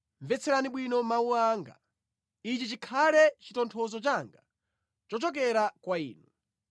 “Mvetserani bwino mawu anga; ichi chikhale chitonthozo changa chochokera kwa inu.